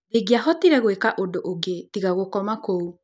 Ndingĩahotire gwĩka ũndũ ũngĩ tiga gũkoma kũu.